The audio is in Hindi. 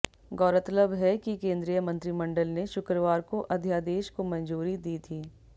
गौरतलब है कि केंद्रीय मंत्रिमंडल ने शुक्रवार को अध्यादेश को मंजूरी दी थी